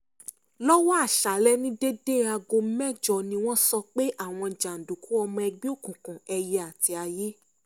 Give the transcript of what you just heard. lọ́wọ́ aṣálẹ̀ ní déédé aago mẹ́jọ ni wọ́n sọ pé àwọn jàǹdùkú ọmọ ẹgbẹ́ òkùnkùn ẹyẹ àti aiye